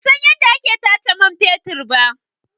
Ban san yadda ake tace man fetur ba.